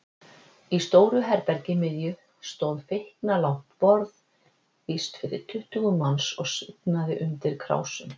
Í stóru herbergi miðju stóð feiknalangt borð, víst fyrir tuttugu manns, og svignaði undir krásum.